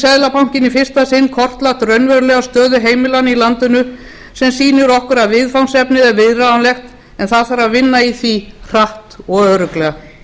seðlabankinn í fyrsta sinn kortlagt raunverulega stöðu heimilanna í landinu sem sýnir okkur að viðfangsefnið er viðráðanlegt en það þarf að vinna í því hratt og örugglega